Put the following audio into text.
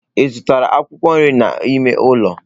Ị zụtara akwụkwọ nri a n'mọlụ?